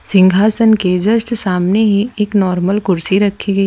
सिंहासन के जस्ट सामने ही एक नॉर्मल कुर्सी रखी गई--